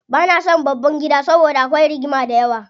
Bana son babban gida saboda akwai rigima dayawa.